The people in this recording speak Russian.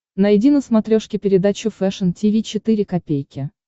найди на смотрешке передачу фэшн ти ви четыре ка